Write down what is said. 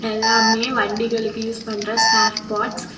எல்லாமே வண்டிகளுக்கு யூஸ் பண்ற ஸ்பேர் பார்ட்ஸ் .